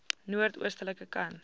noord oostelike kant